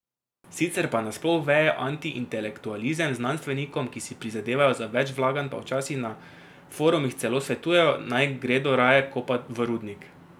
Sicer pa nasploh veje antiintelektualizem, znanstvenikom, ki si prizadevajo za več vlaganj pa včasih na forumih celo svetujejo, naj gredo raje kopat v rudnik.